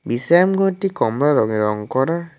বিশ্রামঘরটি কমলা রঙে রং করা।